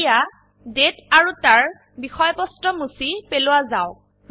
এতিয়া দাঁতে আৰু তাৰ বিষয়বস্তু মুছি পেলোৱা যাওক